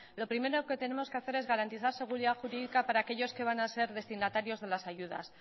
lo primero que tenemos que hacer es garantizar seguridad jurídica para aquellos que van a ser destinatarios de las ayudas